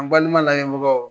N balima layɛbagaw